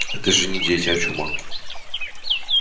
это же не дети а чума